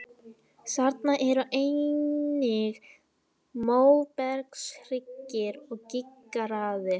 Þarna eru einnig móbergshryggir og gígaraðir.